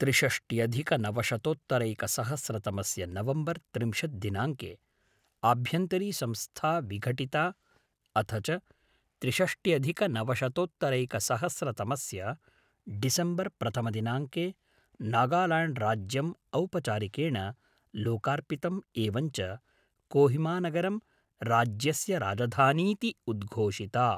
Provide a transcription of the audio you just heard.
त्रिषष्ट्यधिकनवशतोत्तरैकसहस्रतमस्य नवम्बर् त्रिंशत् दिनाङ्के आभ्यन्तरी संस्था विघटिता अथ च त्रिषष्ट्यधिकनवशतोत्तरैकसहस्रतमस्य डिसेम्बर् प्रथमदिनाङ्के नागाल्याण्ड्राज्यम् औपचारिकेण लोकार्पितम् एवञ्च कोहिमानगरं राज्यस्य राजधानीति उद्घोषिता।